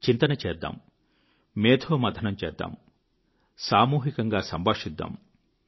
చింతన చేద్దాం మేథోమథనం చేద్దాం సామూహికంగా సంభాషిద్దాం